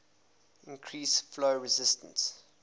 increase flow resistance